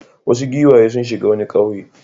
Wasu giwaye sun shiga wani ƙauye.